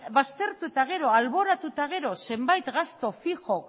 baztertu eta gero alboratu eta gero zenbait gastu fijo